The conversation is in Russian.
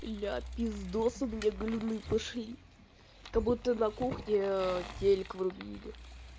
ля пиздос у меня галюны пошли как-будто на кухне телек врубили